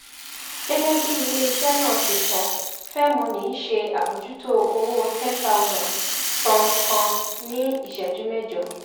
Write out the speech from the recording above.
gẹ́gẹ́ bí ilé-iṣẹ́ náà ṣe sọ fairmoney ń ṣe àbójútó owó 10000 san kan ní ìṣẹ́jú mẹ́jọ.